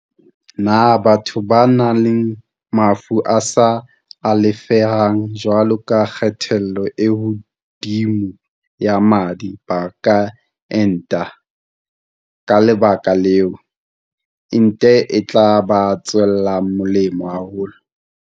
Potso- Na batho ba nang le mafu a sa alafeheng jwalo ka kgatello e hodimo ya madi ba ka enta? Ka le baka leo, ente e tla ba tswela molemo haholo.